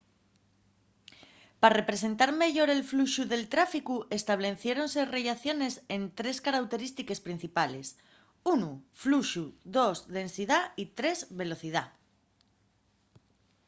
pa representar meyor el fluxu del tráficu estableciéronse rellaciones ente trés carauterístiques principales: 1 fluxu 2 densidá y 3 velocidá